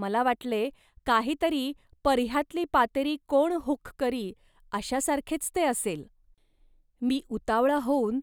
मला वाटले, काही तरी 'पर्ह्यातली पातेरी कोण हुक् करी', अशासारखेच ते असेल. मी उतावळा होऊन